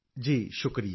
ਜੀ ਸ਼ੁਕਰੀਆ